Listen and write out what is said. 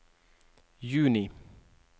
juni